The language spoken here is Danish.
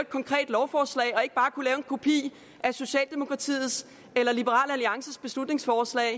konkret lovforslag og ikke bare kunne lave en kopi af socialdemokratiets eller liberal alliances beslutningsforslag